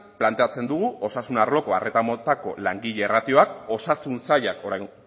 planteatzen dugu osasun arloko arreta motako langile ratioak osasun sailak orain